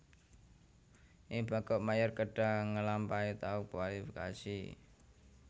Ing Bangkok Mayer kedhah ngelampahi tahap kualifikasi